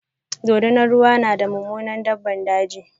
dorinar ruwa na da Mummunar daɓɓan daji.